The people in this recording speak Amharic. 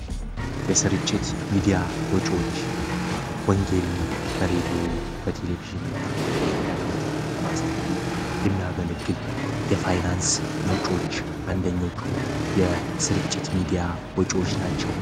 የስርጭት ሚዲያ ወጪዎች ወንጌልን በሬድዎ በቴሌቪዥን እና በኢንተርኔት ለማስተላለፍ የሚያገልግል የፋይናንስ ምንጮች አንደኞቹ የስርጭት ሚዲያ ወጭዎች ናቸው።